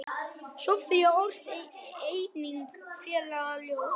Soffía orti einnig falleg ljóð.